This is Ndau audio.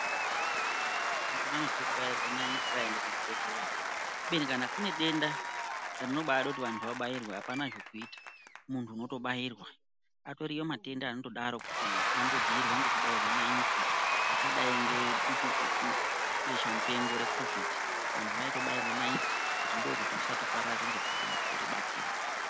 Vantu vazhinji vanotya kubairwa naiti vaenda kuchibhedhlera ubeni kana kune denda rinobada kuti vantu vabairwe hapana zvekuita muntu unotobairwa ariyo matenda akatodaro kuti anodzivirirwa nekubairwa naiti akadai ngedutu besha mupengo recovid antu aitobairwa naiti ndokuti usatopararira kana kuribatira.